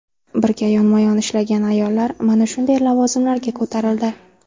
Birga yonma-yon ishlagan ayollar mana shunday lavozimlarga ko‘tarildi.